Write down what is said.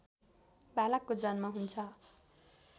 बालकको जन्म हुन्छ